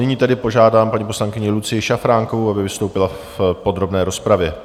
Nyní tedy požádám paní poslankyni Lucii Šafránkovou, aby vystoupila v podrobné rozpravě.